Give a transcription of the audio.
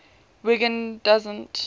wiggin doesn t